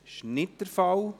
– Das ist nicht der Fall.